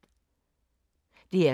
DR K